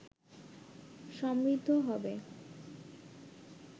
সমৃদ্ধ হবে